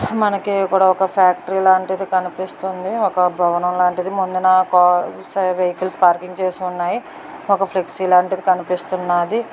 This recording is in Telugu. మనకి కూడా ఒక ఫ్యాక్టరీ లాంటిది కనిపిస్తుంది. ఒక బవనం లాంటిది ముందు వాహనాలు పార్క్ చేసి ఉన్నాయ్ ఒక ఫ్లెక్సీ లాంటిది కనిపిస్తా ఉంది.